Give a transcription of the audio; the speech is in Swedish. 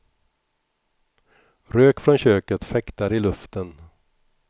Rök från köket fäktar i luften.